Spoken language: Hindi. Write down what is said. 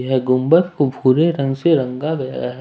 ये गुंबद को भूरे रंग से रंग गया है।